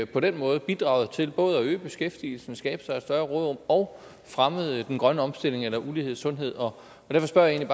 på den måde bidraget til både at øge beskæftigelsen skabt sig et større råderum og fremmet den grønne omstilling eller lighed i sundhed derfor spørger jeg